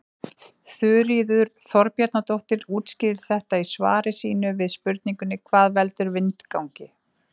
Þuríður Þorbjarnardóttir útskýrir þetta í svari sínu við spurningunni Hvað veldur vindgangi?